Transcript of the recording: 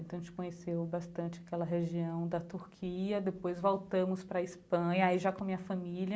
Então a gente conheceu bastante aquela região da Turquia, depois voltamos para a Espanha, aí já com a minha família.